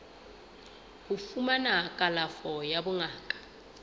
ho fumana kalafo ya bongaka